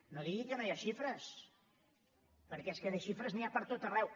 no digui que no hi ha xifres perquè és que de xifres n’hi ha per tot arreu